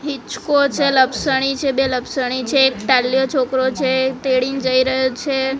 હિંચકો છે લપસણી છે બે લપસણી છે એક ટાલ્યો છોકરો છે તેડી ને જઈ રહ્યો છે.